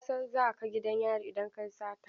Ka san za ka gidan yari idan ka yi sata?